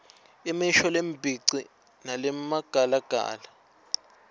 imisho lembici nalemagalagala